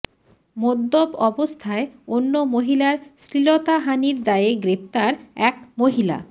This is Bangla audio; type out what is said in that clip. মদ্যপ অবস্থায় অন্য মহিলার শ্লীলতাহানির দায়ে গ্রেফতার এক মহিলা